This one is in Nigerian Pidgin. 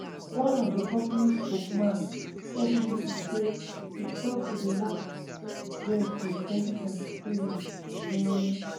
one of di company spokesman tell bbc say e stop to dey work dia since 2023 um